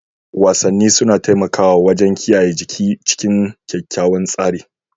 Wasanni suna taimakawa wajen kiyaye jiki cikin kyakkyawan tsari.